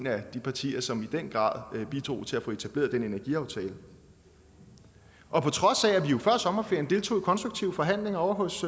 af de partier som i den grad bidrog til at få etableret den energiaftale og på trods af at vi jo før sommerferien deltog i konstruktive forhandlinger ovre hos